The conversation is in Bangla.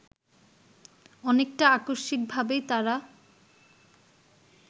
অনেকটা আকস্মিকভাবেই তারা